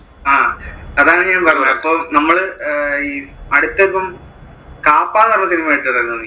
ആ അതാണ് ഞാൻ പറഞ്ഞെ അപ്പൊ നമ്മള്, അടുത്ത് ഇപ്പൊ കാപ്പ എന്ന് പറയുന്ന കണ്ടിട്ടുണ്ടായിരുന്നോ നീ?